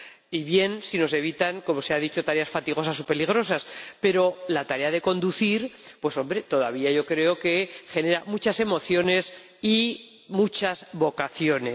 Y está bien si nos evitan —como se ha dicho— tareas fatigosas o peligrosas, pero la tarea de conducir, todavía yo creo que genera muchas emociones y muchas vocaciones.